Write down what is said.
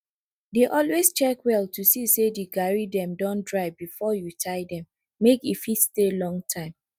dey always check well to see say de garri dem don dry before you tie dem make e fit stay long time